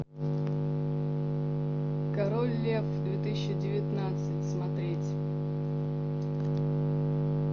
король лев две тысячи девятнадцать смотреть